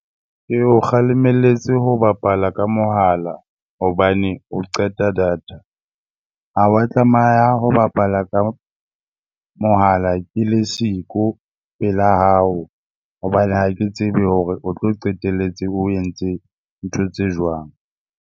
Ke o kgalemelletse ho bapala ka mohala hobane o qeta data. Ha wa tlameha ho bapala ka mohala ke le siko pela hao hobane ha ke tsebe hore o tlo qetelletse o entse ntho tse jwang.